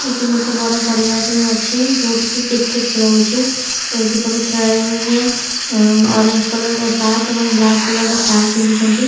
ଏଠି ଗୋଟେ ବଡ ପଡିଆଟେ ଅଛି ଯୋଉଠି କି କ୍ରିକେଟ ଖେଳ ହଉଚି ଏଇଠି ସବୁ ଖେଳାଳୀ ମାନେ ଆଁ ଅରେଞ୍ଜ କଲର ର ସାର୍ଟ ବ୍ଲାକ କଲର ର ପ୍ୟାଣ୍ଟ୍ ପିନ୍ଧିଛନ୍ତି।